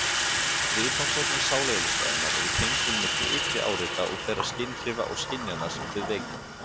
Viðfangsefni sáleðlisfræðinnar eru tengslin milli ytri áreita og þeirra skynhrifa og skynjana sem þau vekja.